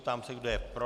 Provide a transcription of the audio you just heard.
Ptám se, kdo je pro.